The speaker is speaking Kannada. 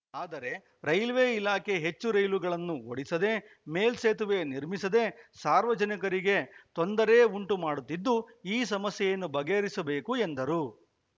ಆದರೆ ರೈಲ್ವೆ ಇಲಾಖೆ ಹೆಚ್ಚು ರೈಲುಗಳನ್ನು ಓಡಿಸದೆ ಮೇಲ್ಸೇತುವೆ ನಿರ್ಮಿಸದೇ ಸಾರ್ವಜನಿಕರಿಗೆ ತೊಂದರೆ ಉಂಟು ಮಾಡುತ್ತಿದ್ದು ಈ ಸಮಸ್ಯೆಯನ್ನು ಬಗೆಹರಿಸಬೇಕು ಎಂದರು